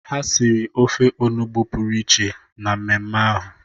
Ha siri ofe onugbu pụrụ iche na mmemme ahụ.